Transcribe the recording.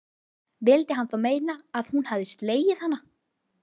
Vildi hann þá meina að hún hefði slegið hana?